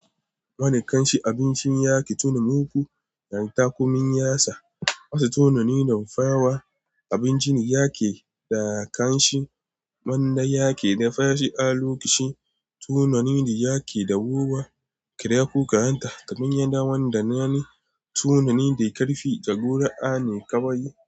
Wani kanshi abincin yaƙi tuni muku, yaren takumin yasa wasu tunani da mafawa abincin yaƙi da kanshi, Manda yaƙi da faci alukushi tunani da yaƙi da guba, kira ku kayan ta, tabin yada wanda na ne tunani da ƙarfi da gura'a ne kawai.